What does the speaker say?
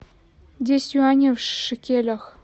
десять юаней в шекелях